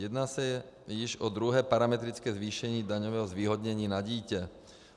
Jedná se již o druhé parametrické zvýšení daňového zvýhodnění na dítě.